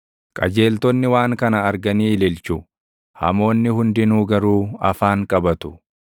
Qajeeltonni waan kana arganii ililchu; hamoonni hundinuu garuu afaan qabatu.